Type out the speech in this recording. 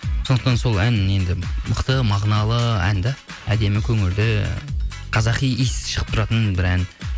сондықтан сол ән енді мықты мағыналы ән де әдемі көңілді қазақи иіс шығып тұратын бір ән